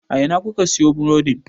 A Ina kuka siyo burodin?